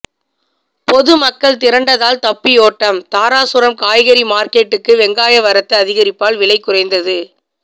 பொதுமக்கள் திரண்டதால் தப்பியோட்டம் தாராசுரம் காய்கறி மார்க்கெட்டுக்கு வெங்காய வரத்து அதிகரிப்பால் விலை குறைந்தது